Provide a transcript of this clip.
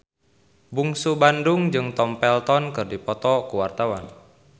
Bungsu Bandung jeung Tom Felton keur dipoto ku wartawan